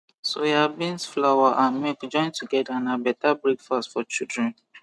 soya beans flour and milk join together na beta breakfast for children